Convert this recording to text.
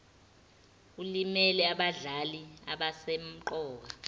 elimele abadlali abasemqoka